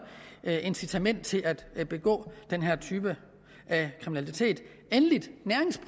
incitament til at begå den her type af kriminalitet endelig